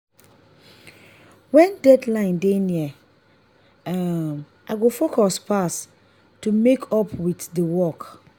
when deadline dey near um i go focus pass to meet up with the work.